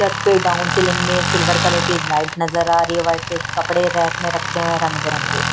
रथ पे down ceiling में silver colour की लाइट नजर आ रही है वाइट के कपड़े रैक में रखे हुए हैं रंग बरंगे।